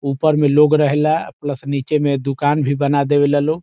ऊपर में लोग रहेला प्लस नीचे मे दुकान भी बना देवेला लोग।